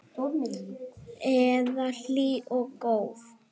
Eða hlý og góð?